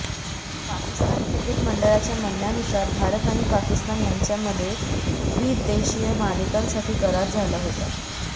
Pakistan cricket मंडळाच्या म्हणण्यानुसार भारत आणि पाकिस्तान यांच्यामध्ये द्विदेशीय मालिकेसाठी करार झाला होता